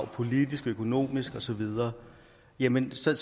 politiske økonomiske og så videre jamen så